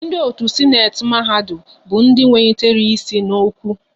Ndị otu Sịnate mahadum bụ ndị wenyitere ịsị n'okwa